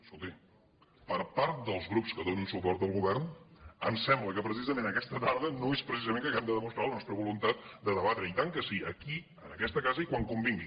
escolti per part dels grups que donen suport al govern em sembla que precisament aquesta tarda no és precisament que hàgim de demostrar la nostra voluntat de debatre i tant que sí aquí en aquesta casa i quan convingui